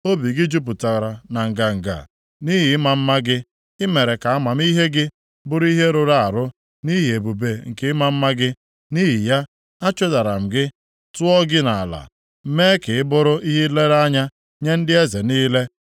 Obi gị jupụtara na nganga nʼihi ịma mma gị, i mere ka amamihe gị bụrụ ihe rụrụ arụ nʼihi ebube nke ịma mma gị. Nʼihi ya, achụdara m gị, tụọ gị nʼala, mee ka ị bụrụ ihe nlere anya nye ndị eze niile.